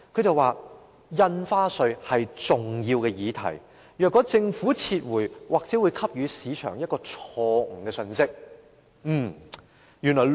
他表示，印花稅是重要的議題，如果政府撤回法案，或許會給予市場一個錯誤的信息。